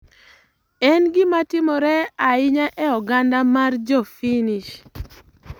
En gima timore ahinya e oganda mar Jo Finnish.